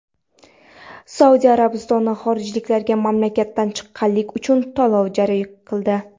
Saudiya Arabistoni xorijliklarga mamlakatdan chiqqanlik uchun to‘lov joriy qildi.